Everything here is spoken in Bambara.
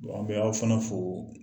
an bɛ aw fana fo